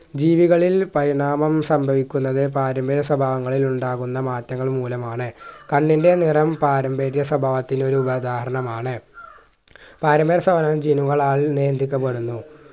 ജീവികളിൽ പരിണാമം സംഭവിക്കുന്നത് പാരമ്പര്യ സ്വഭാവങ്ങളിൽ ഉണ്ടാകുന്ന മാറ്റങ്ങൾ മൂലമാണ് കണ്ണിൻ്റെ നിറം പാരമ്പര്യ സ്വഭാവത്തിൽ ഒരു ഉദാഹരണമാണ് പാരമ്പര്യ സ്വഭാവം gene കളാൽ നിയന്ത്രിക്കപ്പെടുന്നു